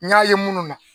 N y'a ye minnu na